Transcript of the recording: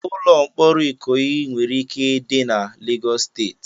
Ụlọ mkpọrọ ikoyi nwere ike dị na Lagos State